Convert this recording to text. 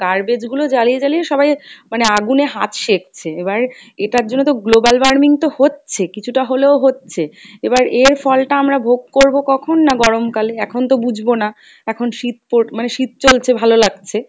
garbage গুলো জ্বালিয়ে জ্বালিয়ে সবাই মানে আগুনে হাত শেখছে। এবারে এটার জন্য তো global warming তো হচ্ছে কিছুটা হলেও হচ্ছে, এবার এর ফলটা আমরা ভোগ করবো কখন না গরম কালে, এখন তো বুঝবো না এখন শীত পর মানে শীত চলছে ভালো লাগছে,